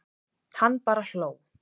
Hann bara hló.